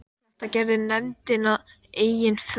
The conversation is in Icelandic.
Þetta gerði nefndin að eigin frumkvæði.